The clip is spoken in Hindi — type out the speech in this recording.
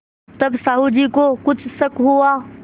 तब साहु जी को कुछ शक हुआ